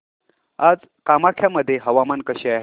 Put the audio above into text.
आज कामाख्या मध्ये हवामान कसे आहे